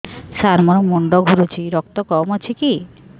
ସାର ମୋର ମୁଣ୍ଡ ଘୁରୁଛି ରକ୍ତ କମ ଅଛି କି